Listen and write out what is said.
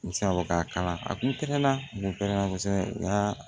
N bɛ se ka fɔ k'a kalan a kun pɛrɛnna kun pɛrɛnna kosɛbɛ n y'a